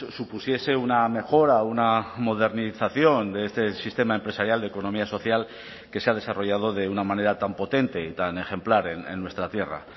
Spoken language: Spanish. supusiese una mejora una modernización de este sistema empresarial de economía social que se ha desarrollado de una manera tan potente y tan ejemplar en nuestra tierra